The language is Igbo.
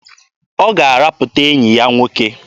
Ọ ga-arapụta enyi ya nwoke.